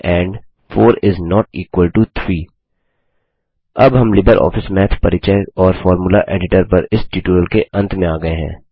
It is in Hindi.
एंड 4 इस नोट इक्वल टो 3 अब हम लिबर ऑफिस माथ परिचय और फॉर्मूला एडिटर पर इस ट्यूटोरियल के अंत में आ गये हैं